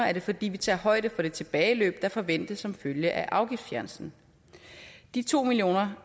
er det fordi vi tager højde for det tilbageløb der forventes som følge af afgiftsfjernelsen de to milliard